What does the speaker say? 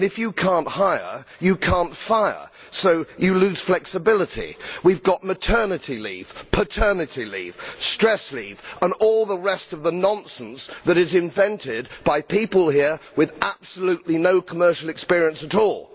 And if you cannot hire, you cannot fire, so you lose flexibility. We have maternity leave, paternity leave, stress leave and all the rest of the nonsense that is invented by people here who have absolutely no commercial experience at all.